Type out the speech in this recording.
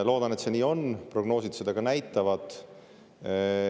Loodan, et see nii on, prognoosid seda näitavad.